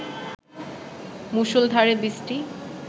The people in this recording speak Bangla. মুষলধারে বৃষ্টি